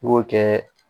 I b'o kɛ